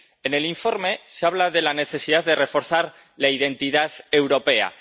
En el informe se habla de la necesidad de reforzar la identidad europea.